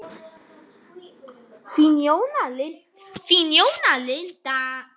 Þín Jóna Linda.